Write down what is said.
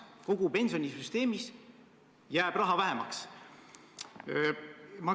Kogu pensionisüsteemis jääb raha vähemaks.